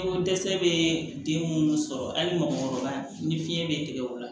Ko dɛsɛ bɛ den minnu sɔrɔ hali mɔgɔkɔrɔba ni fiɲɛ bɛ tigɛ o la